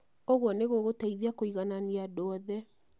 ũguo nĩ gũgũteithia kũiganania andũ othe